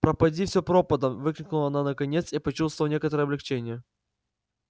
пропади все пропадом выкрикнула она наконец и почувствовала некоторое облегчение